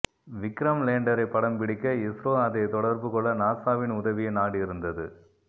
விக்ரம் லேண்டரை படம் பிடிக்க இஸ்ரோ அதை தொடர்புகொள்ள நாசாவின் உதவியை நாடியிருந்தது